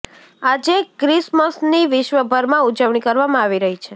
આજે ક્રિસમસની વિશ્વ ભરમાં ઉજવણી કરવામાં આવી રહી છે